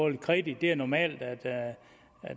lidt kredit det er normalt at